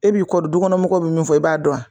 E b'i kɔ du kɔnɔ mɔgɔw bɛ min fɔ i b'a dɔn